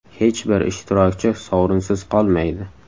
Hech bir ishtirokchi sovrinsiz qolmaydi!